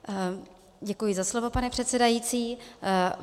Děkuji za slovo, pane předsedající.